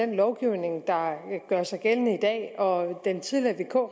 den lovgivning der gør sig gældende i dag og den tidligere vk